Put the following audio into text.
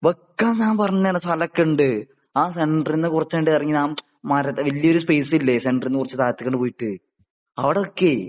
വെക്കാൻ ഞാൻ പറഞ്ഞ് തരാ സ്ഥലം ഒക്കെ ഇണ്ട് ആ സെന്റേറിന്നു കുറച്ചങ്ങട് ഇറങ്ങി ആ മര വലിയ ഒരു സ്പേസ് ഇല്ലേ ? സെന്റേറിന്നു കുറച്ച് താഴത്തേക്കങ്ങട് പോയിട്ട് അവിടെ വെക്കേ